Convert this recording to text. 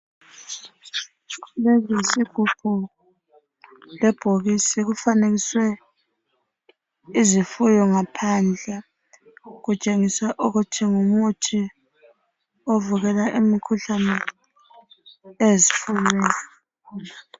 Lesi yisigubhu lebhokisi kufanekiswe izifuyo ngaphandle kutshengisa ukuthi ngumuthi ovikela imikhuhlane ezifuyweni.